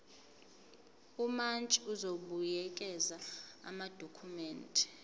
umantshi uzobuyekeza amadokhumende